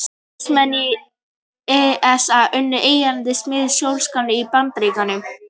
Starfsmenn ESA unnu einnig að smíði sjónaukans í Bandaríkjunum.